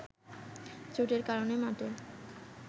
চোটের কারণে মাঠে